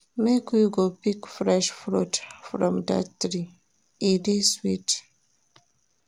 Make we go pick fresh fruit from dat tree, e dey sweet.